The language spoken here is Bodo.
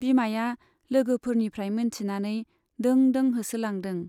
बिमाया लोगोफोरनिफ्राइ मोनथिनानै दों दों होसोलांदों।